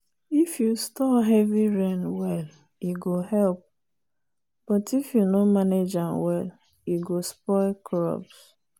if you store heavy rain well e go help but if you no manage am e go spoil crops.